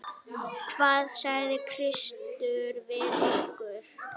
Hvað sagði Kristur við ykkur?